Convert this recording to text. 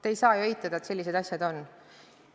Te ei saa ju eitada, et sellised asjad on.